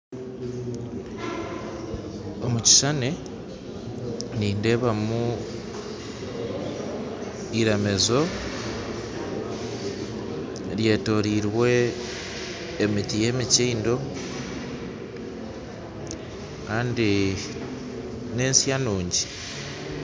Omukishushani nindebamu iramizo ryetooriirwe emiti y'emikindo kandi n'ensya nungi.